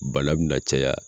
Bala bɛ na caya.